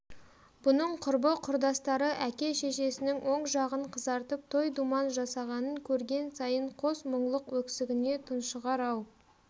бұның құрбы-құрдастары әке-шешесінің оң жағын қызартып той-думан жасағанын көрген сайын қос мұңлық өксігіне тұншығар-ау